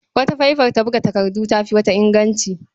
Wata faifa ta buga takardu ta fi wata inganci.